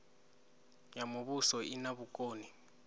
ya muvhuso i na vhukoni